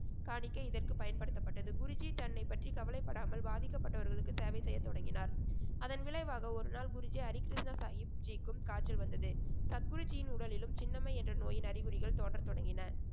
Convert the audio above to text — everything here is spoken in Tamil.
காணிக்கை இதற்கு பயன்படுத்தப்பட்டது. குருஜி தன்னைப் பற்றி கவலைப்படாமல் பாதிக்கப்பட்டவர்களுக்கு சேவை செய்யத்தொடங்கினார். அதன் விளைவாக ஓருநாள் குருஜி ஹரிகிருஷ்ண சாகிப்ஜிக்கும் காய்ச்சல் வந்தது. சத்குருஜியின் உடலிலும் சின்னம்மை என்ற நோயின் அறிகுறிகள் தோன்ற தொடங்கின.